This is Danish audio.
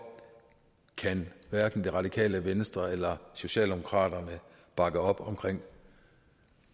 kan hverken det radikale venstre eller socialdemokraterne bakke op om